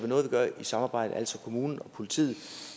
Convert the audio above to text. noget vi gør i samarbejde altså kommunen og politiet